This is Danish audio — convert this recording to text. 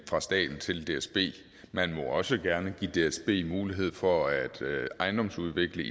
fra staten til dsb man må også gerne give dsb mulighed for at ejendomsudvikle